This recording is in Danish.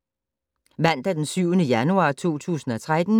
Mandag d. 7. januar 2013